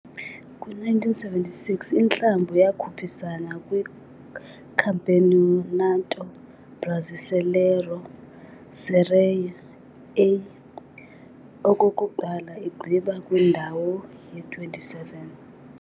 Kwi-1976, iklabhu yakhuphisana kwiCampeonato Brasileiro Série A okokuqala, igqiba kwindawo ye-27.